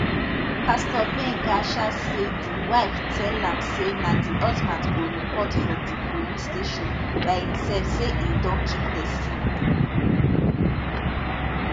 pastor gbenga um say di wife tell am say na di husband go report for di police station by imsef say e don kill pesin